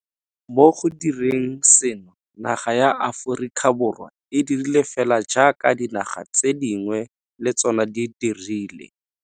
Mo go direng seno, naga ya Aforika Borwa e dirile fela jaaka dinaga tse dingwe le tsona di dirile.